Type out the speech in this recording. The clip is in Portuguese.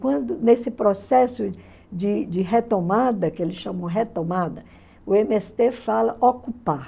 Quando, nesse processo de de retomada, que eles chamam retomada, o eme ésse tê fala ocupar.